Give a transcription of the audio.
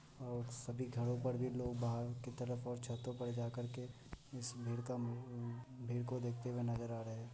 और सभी घरों पर भी लोग बाहर की तरफ़ और छतों पर जा करके इस भीड़ का म भीड़ को देखते हुए नज़र आ रहे हैं।